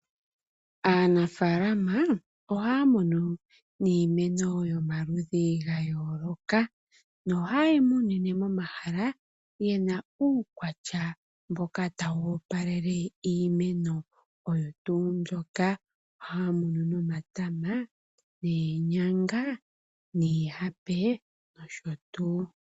Aanafalama ohaya munu iimeno yo maludhi ga yooloka no haya munine momahala ngoka gena uukwatya ta wu opalele iimeno. Ohaya munu omatama , oonyanga , niihape nosho tuu.